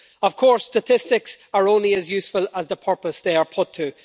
Of course, statistics are only as useful as the purpose they are put to.